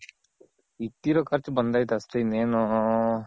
ಇಕ್ಕಿರೋ ಖರ್ಚ್ ಬಂದೈತೆ ಅಷ್ಟೆ ಇನ್ನೇನು